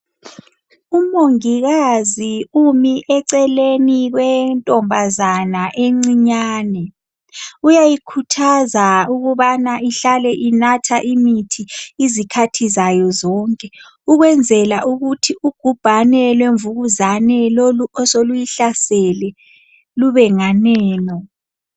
Umongikazi umi eceleni kwentombazana encinyane. Uyayikhuthaza ukubana ihlale inatha imithi izikhathi zayo zonke ukwenzela ukuthi ugubhane lwemvukuzane lolu osoluyihlasele lubenganeno.